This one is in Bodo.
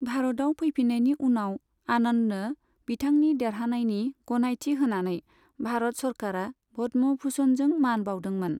भारतआव फैफिननायनि उनाव, आनंदनो बिथांनि देरहानायनि गनायथि होनानै भारत सरकारआ पद्म' भुषणजों मान बावदोंमोन।